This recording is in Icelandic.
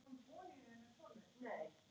Það gat ekki verið.